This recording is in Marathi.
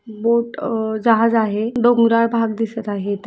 बोट जहाज आ हैं डोंगराळ भाग दिसत आहे इथे.